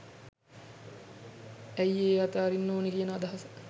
ඇයි ඒ අතහරින්න ඕනි කියන අදහස